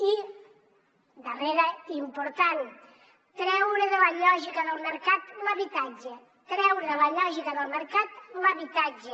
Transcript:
i darrera i important treure de la lògica del mercat l’habitatge treure de la lògica del mercat l’habitatge